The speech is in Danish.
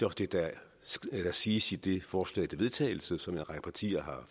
også det der siges i det forslag til vedtagelse som en række partier